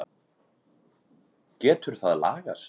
Getur það lagast?